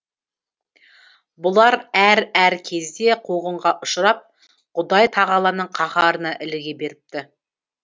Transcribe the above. бұлар әр әр кезде қуғынға ұшырап құдай тағаланың қаһарына іліге беріпті